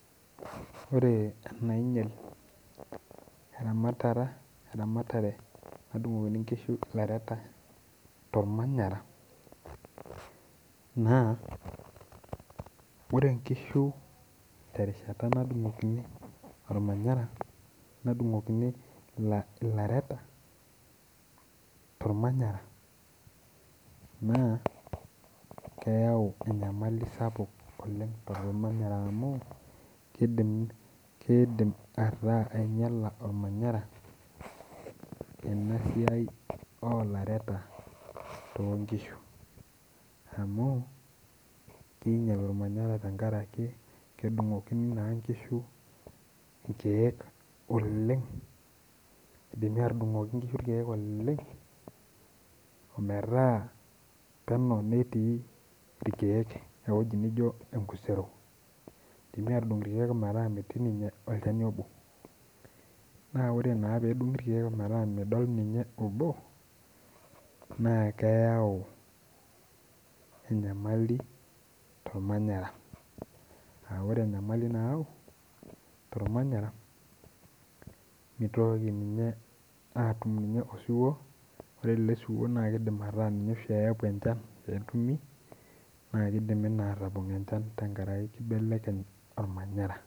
Ore enainyal eramatare nadung'okini inkishu ilaleta to ilmanyara na ore enkishu te rishata nadung'okini olmanyara, nadung'okini ilaleta to ilmanyara naa keyau enyamali sapuk oleng te ilmanyara amu keidim ataa ainyala olmanyara ena siai olareta too inkishu amuu, keinyal olmanyara tengaraki kedung'okini naa inkishu irkeek oleng, eidimi adung'okini inkishu irkeek oleng ometaa peneu neiting' irkeek, neaku enijo enkisero, tenepoi adung' irkeek metaa metii ninye olchani obo. Naa ore naa peedung'i irkeek metaa midol ninye obo naa keyau enyamali to ilmanyara, aa ore enyamali nayau to ilmanyara meitoki ninyee aatum nikye osuwuo, ore esuwuo naa keidim metaa ninye oshi eepu enchan peetumi naa keidimi naa aatobol enchan tengaraki enkibelekenyata olmanyara.